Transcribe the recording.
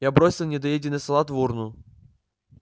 я бросил недоеденный салат в урну